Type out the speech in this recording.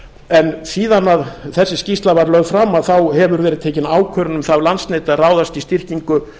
en síðan að þessi skýrsla var lögð fram hefur verið tekin ákvörðun um það af landsneti að ráðast í styrkingu